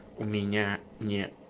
у меня не